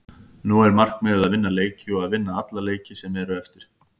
Nú er markmiðið að vinna leiki og að vinna alla leiki sem eru eftir.